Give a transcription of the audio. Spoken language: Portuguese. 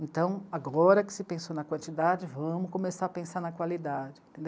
Então agora que se pensou na quantidade, vamos começar a pensar na qualidade.